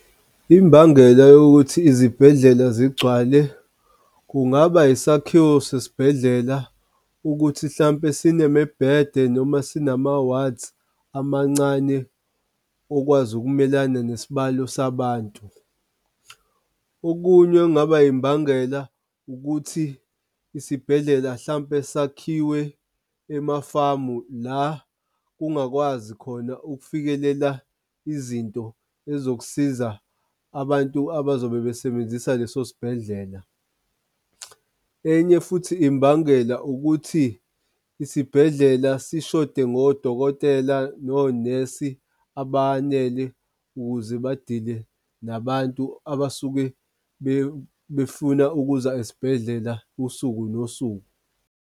Imbangela yokuthi izibhedlela zigcwale kungaba yisakhiwo sesibhedlela ukuthi hlampe sinemibhede noma sinama-wards amancane okwazi ukumelana nesibalo sabantu. Okunye kungaba imbangela ukuthi isibhedlela hlampe sakhiwe emafamu la kungakwazi khona ukufikelela izinto ezokusiza abantu abazobe besebenzisa leso sibhedlela. Enye futhi imbangela ukuthi isibhedlela sishode ngodokotela, nonesi abanele, ukuze badile nabantu abasuke befuna ukuza esibhedlela usuku nosuku.